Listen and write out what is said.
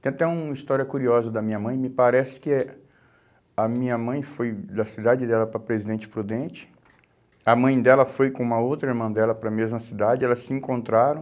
Tem até uma história curiosa da minha mãe, me parece que eh a minha mãe foi da cidade dela para Presidente Prudente, a mãe dela foi com uma outra irmã dela para a mesma cidade, elas se encontraram,